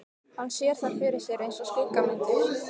Hann sér þær fyrir sér einsog skuggamyndir.